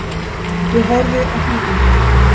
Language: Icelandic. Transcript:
Ég horfði á hringinguna.